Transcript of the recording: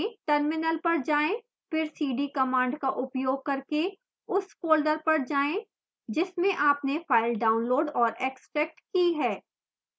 terminal पर जाएं फिर cd command का उपयोग करके उस फोल्डर पर जाएं जिसमें आपने फाइल डाउनलोड और एक्स्ट्रैक्ट की है